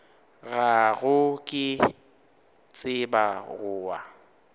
gago ke tseba go wa